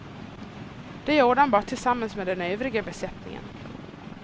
Det gjorde han bara tillsammans med den övriga besättningen.